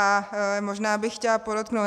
A možná bych chtěla podotknout...